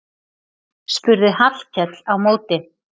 spurði Hallkell á móti.